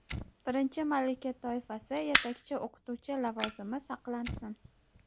birinchi malaka toifasi (yetakchi o‘qituvchi lavozimi) saqlansin;.